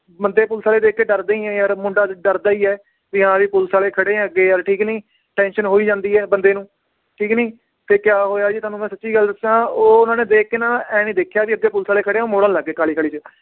ਮੰਦੇ ਪੁਲਸ ਆਲੇ ਦੇਖ ਕੇ ਡਰਦੇ ਹੀ ਹੈ ਯਾਰ ਮੁੰਡਾ ਡਰਦਾ ਈ ਏ ਵੀ ਹਾਂ ਵੀ ਪੁਲਸ ਆਲੇ ਖੜੇ ਏ ਅੱਗੇ ਯਾਰ, ਠੀਕ ਨੀ tension ਹੋ ਈ ਜਾਂਦੀ ਏ ਬੰਦੇ ਨੂੰ ਠੀਕ ਨੀ, ਤੇ ਕਿਆ ਹੋਇਆ ਜੀ ਤੁਹਾਨੂੰ ਮੈ ਸਚੀ ਗੱਲ ਦੱਸਾਂ ਉਹ ਉਹਨਾਂ ਨੇ ਦੇਖ ਕੇ ਨਾ ਇਹ ਨੀ ਦੇਖਿਆ ਵੀ ਅੱਗੇ ਪੁਲਸ ਆਲੇ ਖੜੇ ਆ ਉਹ ਮੋੜਨ ਲੱਗ ਗਏ ਕਾਹਲੀ ਕਾਹਲੀ ਚ